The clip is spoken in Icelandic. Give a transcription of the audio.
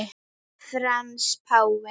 Frans páfi